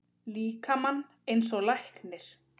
líkamann eins og læknir.